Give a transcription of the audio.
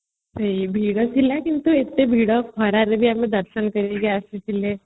ଭିଡଥିଲା କିନ୍ତୁ ଏତେ ଭିଡ ଖରାରେ ରେ ବି ଆମେ ଦର୍ଶନ କରିକି ଆସିଥିଲେ